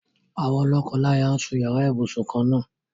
Àwọn lọ́kọláyà ń sun yàrá ibùsùn kan-ná-àn.